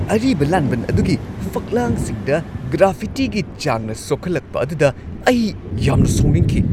ꯑꯔꯤꯕ ꯂꯥꯟꯕꯟ ꯑꯗꯨꯒꯤ ꯐꯛꯂꯥꯡꯁꯤꯡꯗ ꯒ꯭ꯔꯥꯐꯤꯇꯤꯒꯤ ꯆꯥꯡꯅ ꯁꯣꯛꯍꯜꯂꯛꯄ ꯑꯗꯨꯗ ꯑꯩ ꯌꯥꯝꯅ ꯁꯥꯎꯅꯤꯡꯈꯤ꯫